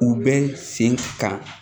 U bɛ sen kan